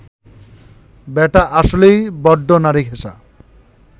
ব্যাটা আসলেই বড্ড নারীঘেঁষা